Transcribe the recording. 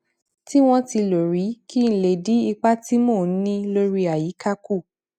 tí wón ti lò rí kí n lè dín ipa tí mò ń ní lórí àyíká kù